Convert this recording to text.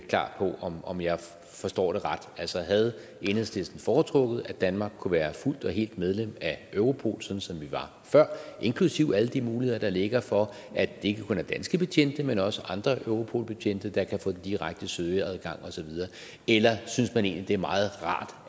klar på om om jeg forstår det ret altså havde enhedslisten foretrukket at danmark kunne være fuldt og helt medlem af europol sådan som vi var før inklusive alle de muligheder der ligger for at det ikke kun er danske betjente men også andre europolbetjente der kan få direkte søgeadgang osv eller synes man egentlig det er meget rart